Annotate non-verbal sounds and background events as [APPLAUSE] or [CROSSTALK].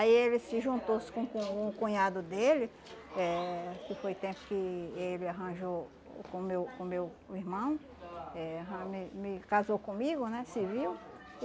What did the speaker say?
Aí ele se juntou-se com o com o cunhado dele, eh que foi o tempo que ele arranjou com o meu com o meu irmão, eh [UNINTELLIGIBLE] me me casou comigo, né, civil.